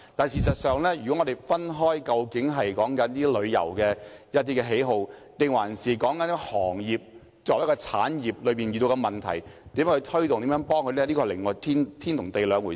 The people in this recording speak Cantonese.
事實上，談論個人的旅遊喜好，與談論旅遊業作為一個產業所遇到的問題，以及如何推動和協助旅遊業，是天與地的兩回事。